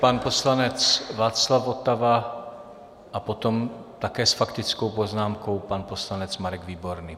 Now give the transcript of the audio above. Pan poslanec Václav Votava a potom také s faktickou poznámkou pan poslanec Marek Výborný.